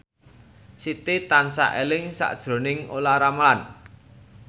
Siti tansah eling sakjroning Olla Ramlan